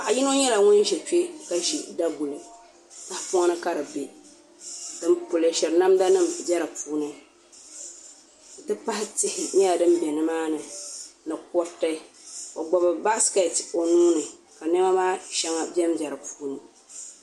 Paɣa yino nyɛla ŋun ʒɛ kpɛ ka ʒi daguli tahapoŋ ni ka di bɛ din polishiri namda nim bɛ dinni n ti pahi tihi nyɛla din bɛ nimaani ni kuruti o gbubi baskɛt o nuuni ka niɛma maa shɛŋa bɛnbɛ di puuni